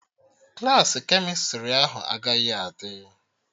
Klassị kemịstrị ahụ agaghị adị